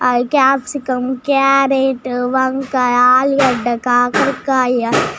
ఆ capsicum carrot వంకాయ ఆలుగడ్డ కాకరకాయ .